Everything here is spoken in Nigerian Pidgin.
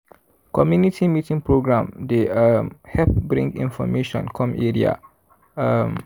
community meeting program dey um help bring information come area. um